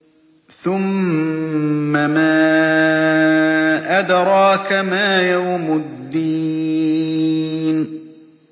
ثُمَّ مَا أَدْرَاكَ مَا يَوْمُ الدِّينِ